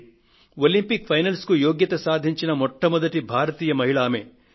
Olympics finals కు యోగ్యతను సాధించిన మొట్టమొదటి భారతీయ మహిళ ఆవిడ